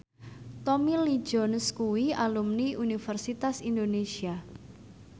Tommy Lee Jones kuwi alumni Universitas Indonesia